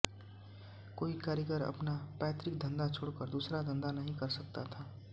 कोई कारीगर अपना पैतृक धंधा छोड़कर दूसरा धंधा नहीं कर सकता था